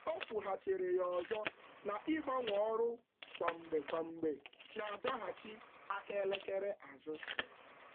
Ọ kwuru na mgbanwe ọrụ ugboro ugboro na-ebelata ọganihu n’ozuzu ya.